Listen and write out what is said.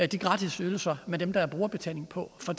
de gratis ydelser med dem der er brugerbetaling på for